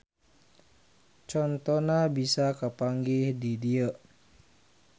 Contona bisa kapanggih di dieu